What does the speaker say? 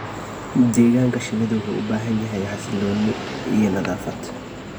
Deegaanka shinnidu wuxuu u baahan yahay xasilooni iyo nadaafad.